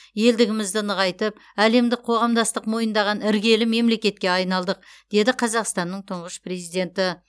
елдігімізді нығайтып әлемдік қоғамдастық мойындаған іргелі мемлекетке айналдық деді қазақстанның тұңғыш президенті